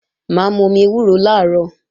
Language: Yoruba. Mà á momi ewúro làárọ̀